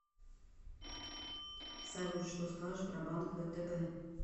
салют что скажешь про банк втб